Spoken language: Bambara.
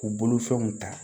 K'u bolofɛnw ta